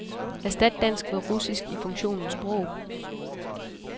Erstat dansk med russisk i funktionen sprog.